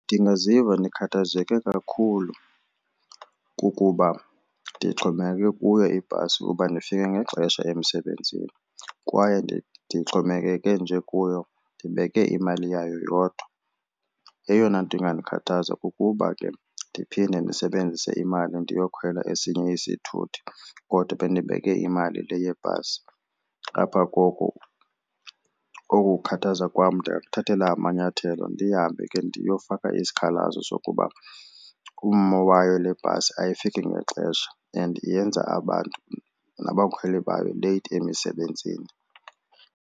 Ndingaziva ndikhathazeke kakhulu kukuba ndixhomekeke kuyo ibhasi uba ndifike ngexesha emsebenzini kwaye ndixhomekeke nje kuyo ndibeke imali yayo yodwa. Eyona nto ingandikhathaza kukuba ke ndiphinde ndisebenzise imali ndiyokhwela esinye isithuthi kodwa bendibeke imali le yebhasi. Ngapha koko oku kukhuthazeka kwam ndingakuthathela amanyathelo ndihambe ke ndiyofaka isikhalazo sokuba ummo wayo lebhasi ayifiki ngexesha and yenza abantu nabakhweli babe leyithi emisebenzini.